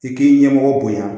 I k'i ɲɛmɔgɔ bonya